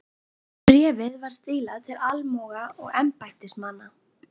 Bréfið var stílað til almúga og embættismanna.